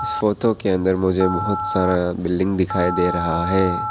Photo के अंदर मुझे बहुत सारा बिल्डिंग दिखाई दे रहा है।